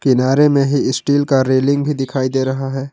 किनारे में ही स्टील का रेलिंग भी दिखाई दे रहा है।